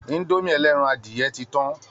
Indomie ẹlẹ́ran adìyẹ ti tán